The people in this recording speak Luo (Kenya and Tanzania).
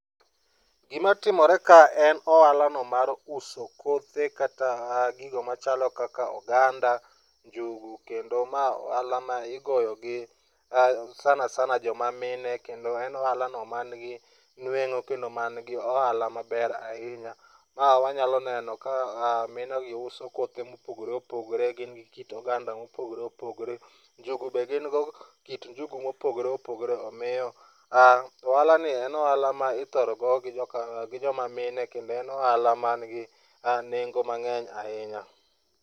Gigo matimore ka en ohalano mar uso kothe kata gigo machalo oganda, njugu kendo ma ohala ma igolo gi sana sana joma mine kendo en ohalano man gi nueng'o kendo en ohala maber hinya. Wanyalo neno ka minegi uso kothe mopogore opogore, gin kit oganda mopogoro opogore, njugu be gin go kit njugu mopogore opogore omiyo ohalani en ohala mithoro go gi joma mine kendo en ohala man gi nengo mang'eny ahinya.